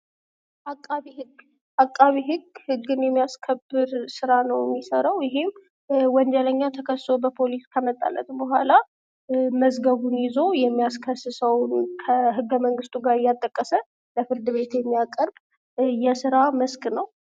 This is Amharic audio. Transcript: አቃቤ ህግ አቃቤ ህግ ህግን የሚያስከብር ስራ ነው የሚሰራው ይሄም ወንጀለኛ ተከሶ በፖሊስ ከመጣለት ቡሃላ መዝገቡን ይዞ የሚያስከስሠው ከህገመንግስቱ ጋር እያጣቀሰ ለፍርድ ቤት የሚያቀርብ የስራ መስክ ነው።